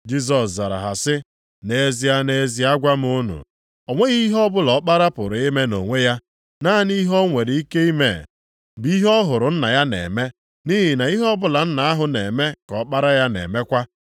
Jisọs zara ha sị, “Nʼezie, nʼezie agwa m unu, o nweghị ihe ọbụla Ọkpara pụrụ ime nʼonwe ya; naanị ihe o nwere ike ime bụ ihe ọ hụrụ Nna ya na-eme, nʼihi na ihe ọbụla Nna ahụ na-eme ka Ọkpara ya na-emekwa.